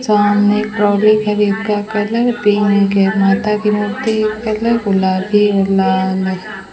सामने ट्रॉलि खड़ी का कलर पिंक हैं माता की मूर्ति का कलर गुलाबी है लाल है।